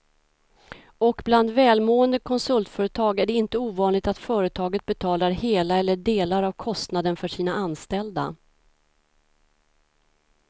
Och bland välmående konsultföretag är det inte ovanligt att företaget betalar hela eller delar av kostnaden för sina anställda.